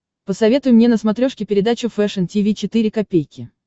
посоветуй мне на смотрешке передачу фэшн ти ви четыре ка